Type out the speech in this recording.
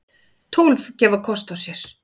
Tólf gefa kost á sér.